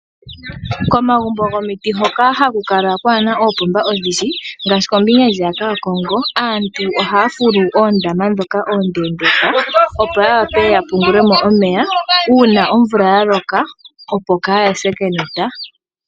Komagumbo gomiti hoka hakukala kwana oopomba odhindji ngashi kombinga ndjiyaka yakongo aantu oha fulu oondama dhoka ondendeka opo yawape yapungulemo omeya una omvula yaloka opo kayase kenota.